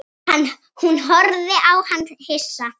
Hún horfði á hann hissa.